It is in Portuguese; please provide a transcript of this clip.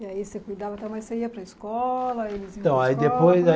E aí você cuidava, tá, mas você ia para a escola, eles iam para a escola, como é